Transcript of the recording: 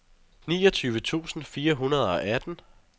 niogtyve tusind fire hundrede og atten